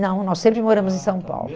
Não, nós sempre moramos em São Paulo. Ah, tá